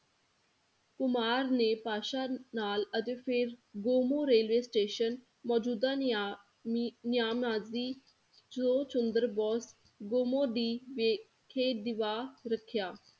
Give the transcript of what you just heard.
ਕੁਮਾਰ ਨੇ ਬਾਦਸ਼ਾਹ ਨਾਲ ਅਤੇ ਫਿਰ ਗੋਮੋਹ railway station ਮੋਜੂਦਾ ਨਿਯਾਮੀ ਨਿਯਾਮ ਨਾਜਰੀ ਚੰਦਰ ਬੋਸ ਗੋਮੋਹ ਦੀ ਵੇਖੇ ਦਿਵਾ ਰਖਿਆ